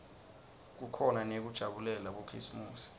kukhona neyekujabulela bokhisimusi